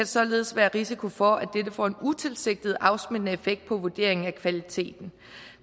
således være risiko for at dette får en utilsigtet afsmittende effekt på vurderingen af kvaliteten